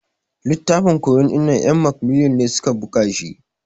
Littafin ƙoyo dinnan en macmillan ne suƙa ɓuga shi.